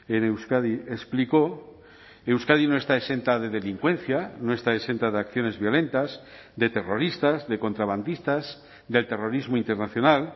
en euskadi explicó euskadi no está exenta de delincuencia no está exenta de acciones violentas de terroristas de contrabandistas del terrorismo internacional